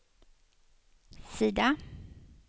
sida